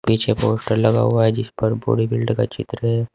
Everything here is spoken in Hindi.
पीछे पोस्टर लगा हुआ है जिस पर बॉडी बिल्ड का चित्र है।